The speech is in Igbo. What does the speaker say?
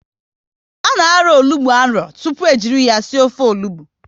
A na arọ onugbu arọ tụpụ e jiri ya sie ofe onugbu